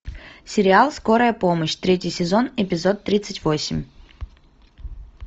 сериал скорая помощь третий сезон эпизод тридцать восемь